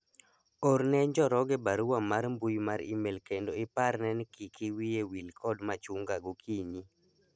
orne njoroge barua mar mbui mar email kendo iparne ni kiki wiye wil kod machunga gokinyi